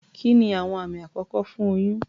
Kí ni àwọn àmì àkọ́kọ́ fún oyún?